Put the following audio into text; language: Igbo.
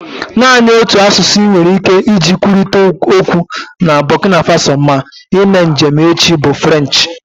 Naanị otu asụsụ inwere ike iji kwurịta okwu na Burkina Faso ma ime njem echi bụ Frenchi